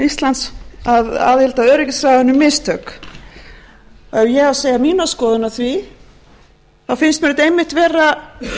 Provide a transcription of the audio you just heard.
íslands að aðild að öryggisráðinu mistök ef ég á að segja mína skoðun á því þá finnst mér þetta einmitt vera